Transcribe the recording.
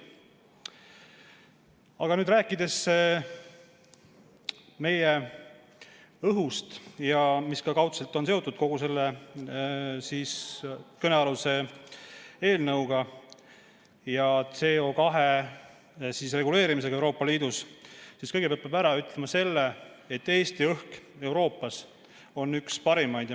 Aga rääkides meie õhust, mis ka kaudselt on seotud kogu selle kõnealuse eelnõuga ja CO2 reguleerimisega Euroopa Liidus, siis kõigepealt peab ütlema, et Eesti õhk on Euroopas üks parimaid.